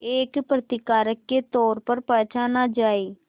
एक प्रतिकारक के तौर पर पहचाना जाए